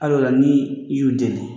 Ali o la ni i y'u dɛli.